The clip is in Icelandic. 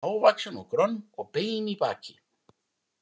Hávaxin og grönn og bein í baki.